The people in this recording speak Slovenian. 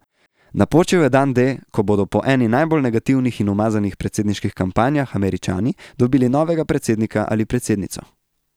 Napočil je dan D, ko bodo po eni najbolj negativnih in umazanih predsedniških kampanjah Američani dobili novega predsednika ali predsednico.